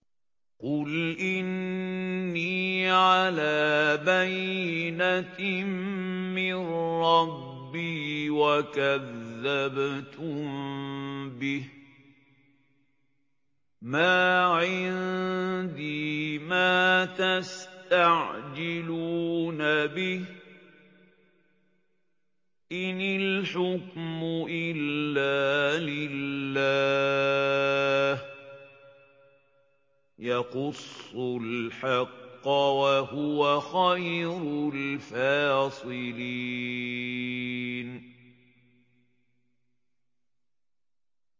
قُلْ إِنِّي عَلَىٰ بَيِّنَةٍ مِّن رَّبِّي وَكَذَّبْتُم بِهِ ۚ مَا عِندِي مَا تَسْتَعْجِلُونَ بِهِ ۚ إِنِ الْحُكْمُ إِلَّا لِلَّهِ ۖ يَقُصُّ الْحَقَّ ۖ وَهُوَ خَيْرُ الْفَاصِلِينَ